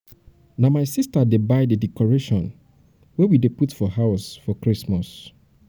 na my sister dey buy di decoration wey we dey put for house for christmas.